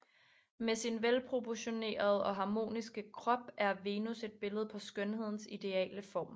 Med sin velproportionerede og harmoniske krop er Venus et billede på skønhedens ideale form